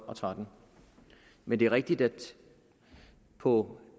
og tretten men det er rigtigt at på